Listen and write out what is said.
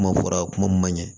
Kuma fɔra kuma mun ma ɲin